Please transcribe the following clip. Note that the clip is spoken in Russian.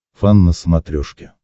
фан на смотрешке